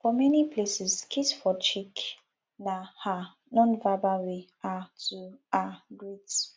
for many places kiss for cheek na um non verbal way um to um greet